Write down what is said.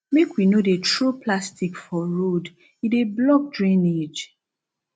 make we no dey throw plastic for road e dey block drainage